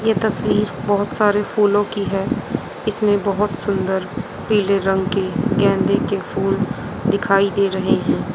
ये तस्वीर बहोत सारे फूलों की है इसमें बहोत सुंदर पीले रंग के गेंदे के फूल दिखाई दे रहे हैं।